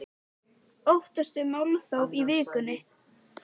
Sigríður: Óttastu málþóf í vikunni?